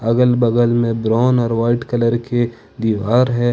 अगल बगल में ब्राउन और वाइट कलर के दीवार है।